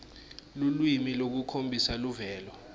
lulwimi lolukhombisa luvelo